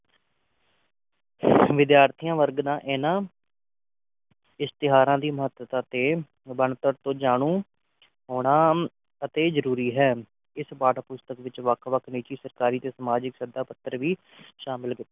ਵਿਦਿਆਰਥੀ ਵਰਗ ਇਨ੍ਹਾਂ ਇਸਤਿਹਾਰਾਂ ਦੀ ਮਹੱਤਤਾ ਤੇ ਬਣਤਰ ਤੋਂ ਜਾਣੂ ਹੋਣਾ ਅਤਿ ਜਰੂਰੀ ਹੈ ਇਸ ਪਾਠ ਪੁਸਤਕ ਵਿਚ ਵੱਖ ਵੱਖ ਨਿਜੀ ਸਰਕਾਰੀ ਤੇ ਸਮਾਜਿਕ ਪੱਧਰ ਵੀ ਸ਼ਾਮਲ